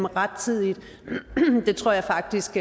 rettidigt tror jeg faktisk